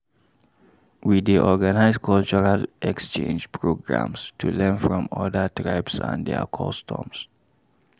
We dey organize cultural exchange programs to learn from other tribes and their customs.